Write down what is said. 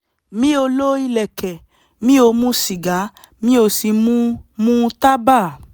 mi ò lo ìlẹ̀kẹ̀ mi ò mu sìgá mi ò sì mu mu tábà